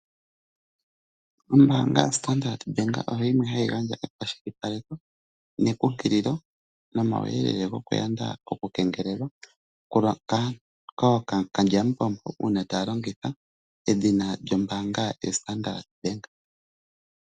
Ombaanga yoStandard Bank oyo yimwe hayi gandja ekwashilipaleko nekunkililo nomawuyelele goku yanda omakengelelo kookalyamupombo uuna taya longitha edhina lyombaanga yoStandard Bank.